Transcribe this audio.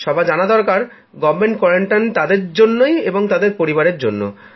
সবার জানা দরকার সরকারী নজরদারীতে আলাদা থাকাটা তাদের জন্য তাদের পরিবারের জন্য